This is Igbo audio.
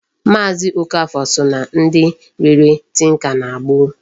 Maazi Okafor so na ndị rere tinka na gboo.